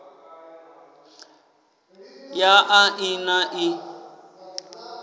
ya a i na ii